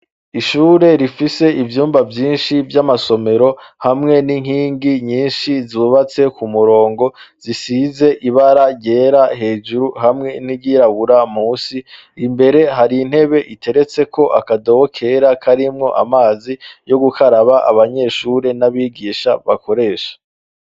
ishure rifise ibyumba vyinshi vy'amasomero hamwe n'inkingi nyinshi zubatse ku murongo zisize ibara gyera hejuru hamwe n'iyirabura musi imbere hari intebe iteretse ko akadoho kera karimwo amazi yo gukaraba abanyeshure n'abigisha bakoresha